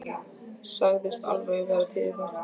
Sagðist alveg vera til í það.